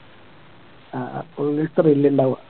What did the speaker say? ആഹ് ഒരു thrill ഇണ്ടാവുക